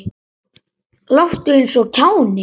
Láttu eins og kjáni.